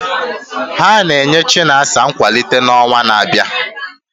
Ha na-enye Chinasa nkwalite n'ọnwa na-abịa.